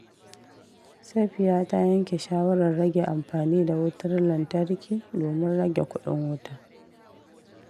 Safiya ta yanke shawarar rage amfani da wutar lantarki domin rage kudin wuta.